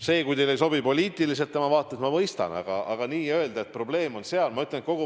Seda, kui teile ei sobi poliitiliselt tema vaated, ma mõistan, aga nii öelda, et probleem on temas ...